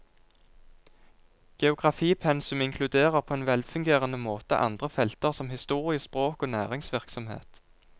Geografipensumet inkluderer på en velfungerende måte andre felter som historie, språk og næringsvirksomhet.